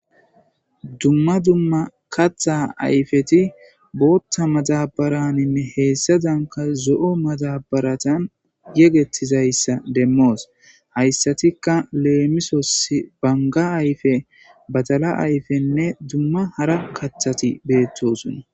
dumma dumma katha ayfeti bootta matabaraninne heessa danka zo7o matabaratan yegettizayssa demmoos hayssatikka leemisos banga ayfe badala ayfenne dumma hara kathati beettosuna